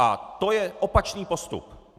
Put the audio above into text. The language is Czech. A to je opačný postup.